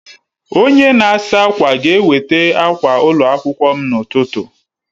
Onye na-asa ákwà ga-eweta akwa ụlọ akwụkwọ m n'ụtụtụ